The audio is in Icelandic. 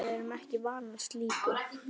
Við hinar erum ekki vanar slíku.